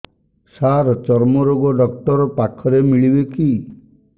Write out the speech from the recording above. ସାର ଚର୍ମରୋଗ ଡକ୍ଟର ପାଖରେ ମିଳିବେ କି